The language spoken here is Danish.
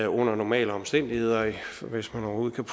under normale omstændigheder hvis man overhovedet kan